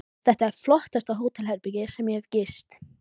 Þetta er flottasta hótelherbergi sem ég hef gist.